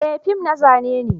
Eh, fim na zane ne.